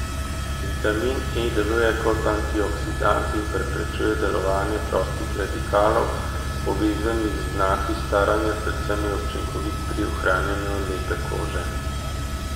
Vitamin E deluje kot antioksidant in preprečuje delovanje prostih radikalov, povezanih z znaki staranja, predvsem je učinkovit pri ohranjanju lepe kože.